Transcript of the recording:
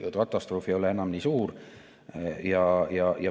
Katastroof ei ole enam nii suur.